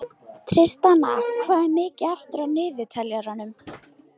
Tristana, hvað er mikið eftir af niðurteljaranum?